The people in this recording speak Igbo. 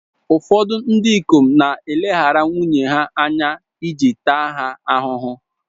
Ụfọdụ ndị ikom na-eleghara nwunye ha anya iji taa ha ahụhụ.